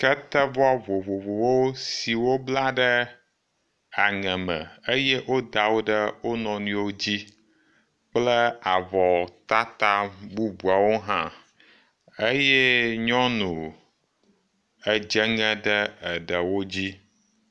Ketevɔ vovovowo si wobla ɖe aŋe me eye woda wo ɖe wo nɔnɔewo dzi kple avɔtata bubuawo hã eye nyɔnu edze ŋe ɖe eɖewo dzi.